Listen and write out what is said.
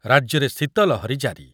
ରାଜ୍ୟରେ ଶୀତ ଲହରୀ ଜାରି ।